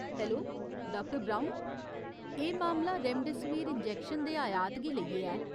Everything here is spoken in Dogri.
Hello, doctor Brown. एह् मामला रेमडेसिविर इंजैक्शन दे आयात गी लेइयै ऐ।